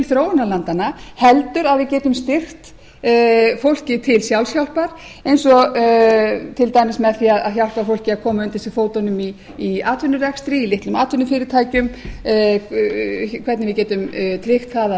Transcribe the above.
þróunarlandanna heldur að við getum styrkt fólkið til sjálfshjálpar eins og til dæmis með því að hjálpa fólki að fram undir sig fótunum í atvinnurekstri í litlum atvinnufyrirtækjum hvernig við getum tryggt að